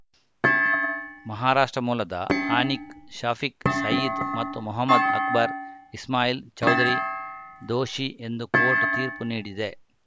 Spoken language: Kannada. ಮಹಾರಾಷ್ಟ್ರ ಮೂಲದ ಅನೀಕ್‌ ಶಫೀಕ್‌ ಸಯೀದ್‌ ಮತ್ತು ಮೊಹಮ್ಮದ್‌ ಅಕ್ಬರ್‌ ಇಸ್ಮಾಯಿಲ್‌ ಚೌಧರಿ ದೋಷಿ ಎಂದು ಕೋರ್ಟ್‌ ತೀರ್ಪು ನೀಡಿದೆ